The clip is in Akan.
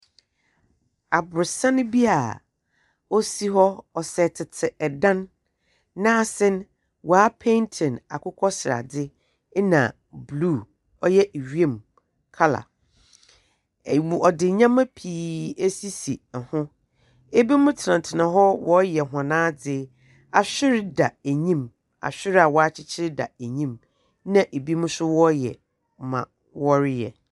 Abnorɔsan bi osi hɔ, ɔsɛ tsetse dan. N'ase no woepeentsi no akokɔseradze na bruw ɔyɛ wimu colour. W Wɔdze ndzɛmba pii esisi enyim. Binom tsenatsena hɔ wɔreyɛ hɔn adze. Ahwer da enyim. Ahwer a wɔakyekyer da enyim. Na binom so wɔreyɛ dza wɔreyɛ.